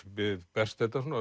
berst þetta svona